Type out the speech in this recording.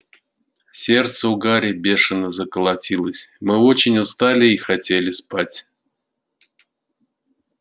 сердце у гарри бешено заколотилось мы очень устали и хотели спать